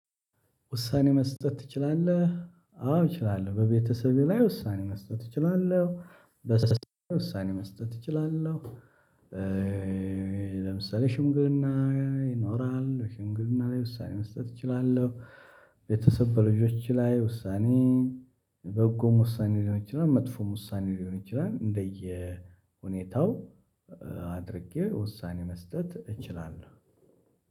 ውሳኔ መስጠት ትችላለህ አዎ እችላለሁ በቤተሰቤ ላይ ውሳኔ መስጠት እችላለህ በቤተሰቤ ውሳኔ መስጠት እችላለሁ። ለምሳሌ ሽምግልና ይኖራል እንግዲህ ሽምግልና ላይ ውሳኔ መስጠት እችላለሁ። ቤተሰብ በልጆች ላይ ውሳኔ የበጎም ውሳኔ ሊሆን ይችላል መጥፎም ውሳኔ ሊሆን ይችላል እንደየሁኔታው። አድርጌ ውሳኔ መስጠት እችላለሁ